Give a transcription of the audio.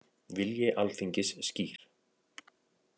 Vilji Alþingis skýr